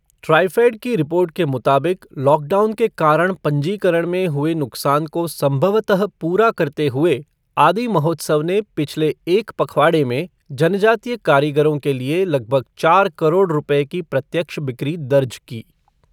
ट्राईफेड की रिपोर्ट के मुताबिक लॉकडाउन के कारण पंजीकरण में हुए नुकसान को संभवतः पूरा करते हुए आदि महोत्सव ने पिछले एक पखवाड़े में जनजातीय कारीगरों के लिए लगभग चार करोड़ रुपये की प्रत्यक्ष बिक्री दर्ज की।